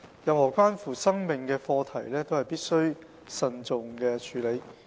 任何關乎生命的課題都必須慎重處理。